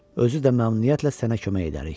Özü də məmnuniyyətlə sənə kömək edərik.